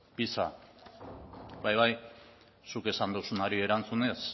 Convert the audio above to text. pisa bai bai zuk esan duzunari erantzunez